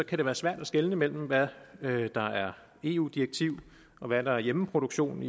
kan det være svært at skelne mellem hvad hvad der er eu direktiv og hvad der er hjemmeproduktion